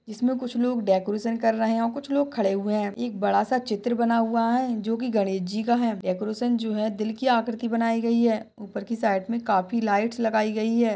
इसमें कुछ लोग डेकोरेशन कर रहे हैं और कुछ लोग खड़े हुए हैं। एक बड़ा सा चित्र बना हुआ है जोकी गणेश जी का है। डेकोरेशन जो है दिल की आकृति बनाई गई है ऊपर के साइड में काफी लाइटस लगाई गई है।